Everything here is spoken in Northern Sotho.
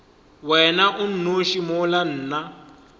wena o nnoši mola nna